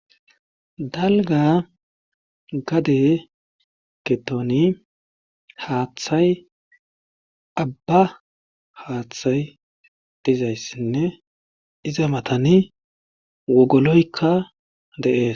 Dalgga gade giddoni haathay abba haathay dizayssinne iza matani wogoloykka de7ees.